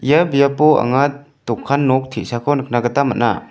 ia biapo anga dokan nok te·sako nikna gita man·a.